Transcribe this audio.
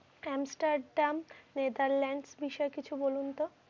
Camstar denk Netherland বিষয়ে কিছু বলুন তো?